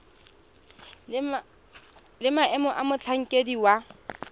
le maemo a motlhankedi wa